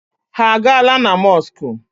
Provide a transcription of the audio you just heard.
Ha a gaala na mọskụ?